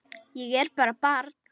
Ég er bara barn.